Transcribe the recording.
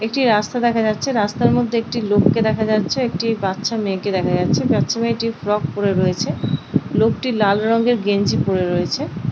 একটি রাস্তা দেখা যাচ্ছে রাস্তার মধ্যে একটি লোককে দেখা যাচ্ছে একটি বাচ্চা মেয়েকে দেখা যাচ্ছে বাচ্চা মেয়েটি ফ্রক পরে রয়েছে লোকটি লাল রঙয়ের গেঞ্জি পরে রয়েছে।